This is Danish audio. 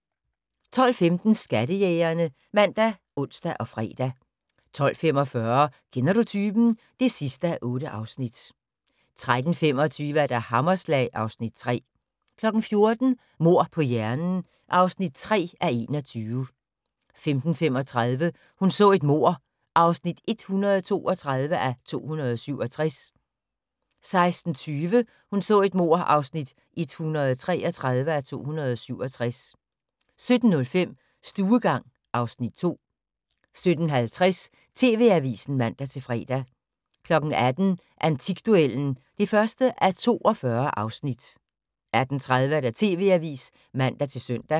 12:15: Skattejægerne ( man, ons, fre) 12:45: Kender du typen? (8:8) 13:25: Hammerslag (Afs. 3) 14:00: Mord på hjernen (3:21) 15:35: Hun så et mord (132:267) 16:20: Hun så et mord (133:267) 17:05: Stuegang (Afs. 2) 17:50: TV-avisen (man-fre) 18:00: Antikduellen (1:42) 18:30: TV-avisen (man-søn)